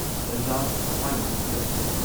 Bajaj finance limited